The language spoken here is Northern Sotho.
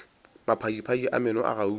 maphadiphadi a meno a gauta